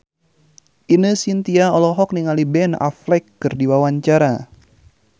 Ine Shintya olohok ningali Ben Affleck keur diwawancara